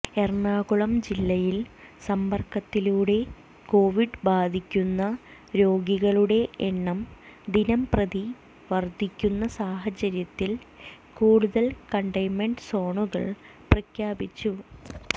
എറണാകുളം ജില്ലയിൽ സമ്പർക്കത്തിലൂടെ കോവിഡ് ബാധിക്കുന്ന രോഗികളുടെ എണ്ണം ദിനം പ്രതി വർധിക്കുന്ന സാഹചര്യത്തിൽ കൂടുതൽ കണ്ടെയ്ൻമെന്റ് സോണുകൾ പ്രഖ്യാപിച്ചു